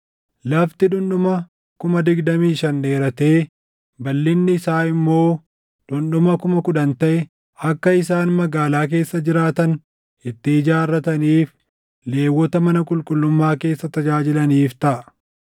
Lafti dhundhuma 25,000 dheeratee balʼinni isaa immoo dhundhuma 10,000 taʼe akka isaan magaalaa keessa jiraatan itti ijaarrataniif Lewwota mana qulqullummaa keessa tajaajilaniif taʼa.